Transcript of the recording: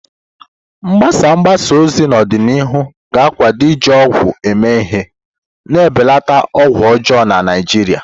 Mgbasa mgbasa ozi n'ọdịnihu ga-akụda iji ọgwụ eme ihe, na-ebelata ọgwụ ọjọọ na Naijiria.